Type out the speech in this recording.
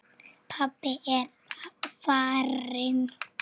Pabbi er farinn.